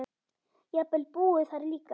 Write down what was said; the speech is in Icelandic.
Jafnvel búið þar líka.